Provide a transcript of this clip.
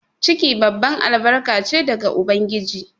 Ciki babban albarka che daga ubangiji.